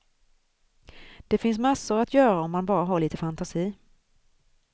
Det finns massor att göra om man bara har lite fantasi.